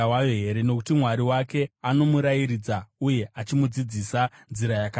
Nokuti Mwari wake anomurayiridza uye achamudzidzisa nzira yakanaka.